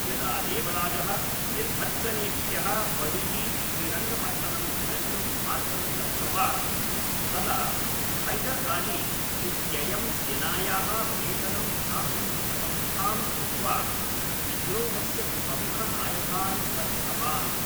यदा देवराजः निर्भत्सनेभ्यः बहिः श्रीरङ्गपत्तनं गन्तुं मार्गं लब्धवान्, तदा हैदर् अली इत्ययं सेनायाः वेतनं दातुं व्यवस्थां कृत्वा विद्रोहस्य प्रमुखनायकान् बद्धवान्।